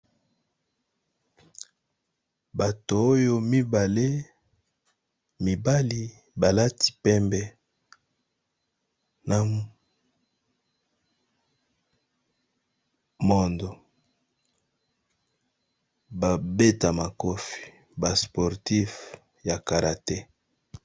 Bato oyo mibale mibali balati pembe, na mondo ba beta makofi ba sportif ya karate.